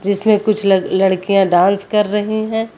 इसमें कुछ ल लड़कियां डांस कर रही हैं।